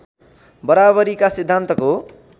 बराबरीका सिद्धान्तको